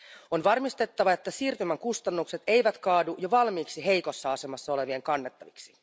On varmistettava, että siirtymän kustannukset eivät kaadu jo valmiiksi heikossa asemassa olevien kannettaviksi.